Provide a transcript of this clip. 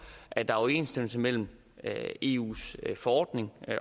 at der er overensstemmelse mellem eus forordning